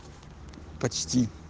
почти